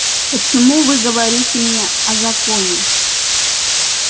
почему вы говорите мне о законе